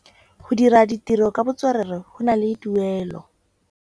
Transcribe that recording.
Go dira ditirô ka botswerere go na le tuelô.